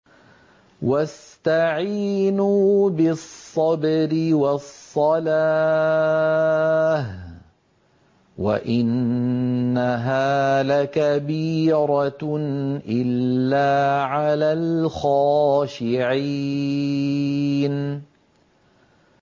وَاسْتَعِينُوا بِالصَّبْرِ وَالصَّلَاةِ ۚ وَإِنَّهَا لَكَبِيرَةٌ إِلَّا عَلَى الْخَاشِعِينَ